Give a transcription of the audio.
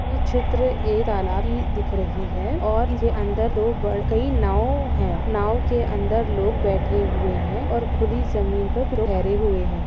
ये चित्र एक तालाब की दिख रही रही हैं और इसके अंदर नाव हैं नाव के अंदर कई लोग बैठे हुए हैं और खुली जगह पर खड़े हुए हैं।